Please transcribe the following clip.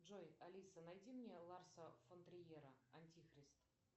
джой алиса найди мне ларса фон триера антихрист